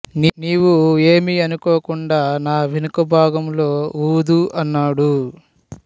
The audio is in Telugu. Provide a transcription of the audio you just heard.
నీవు ఏమీ అనుకోకుండా నా వెనుక భాగంలొ ఉదు అన్నాడు